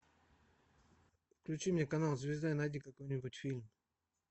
включи мне канал звезда и найди какой нибудь фильм